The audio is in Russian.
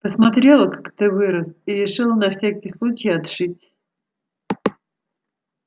посмотрела как ты вырос и решила на всякий случай отшить